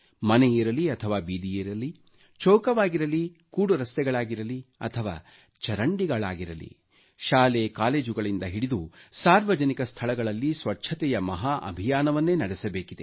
ಮನೆಯಿರಲಿ ಅಥವಾ ಬೀದಿಯಿರಲಿ ಚೌಕವಾಗಿರಲಿ ಕೂಡು ರಸ್ತೆಗಳಾಗಿರಲಿ ಅಥವಾ ಚರಂಡಿಗಳಾಗಿರಲಿ ಶಾಲೆ ಕಾಲೇಜುಗಳಿಂದ ಹಿಡಿದು ಸಾರ್ವಜನಿಕ ಸ್ಥಳಗಳಲ್ಲಿ ಸ್ವಚ್ಛತೆಯ ಮಹಾ ಅಭಿಯಾನವನ್ನೇ ನಡೆಸಬೇಕಿದೆ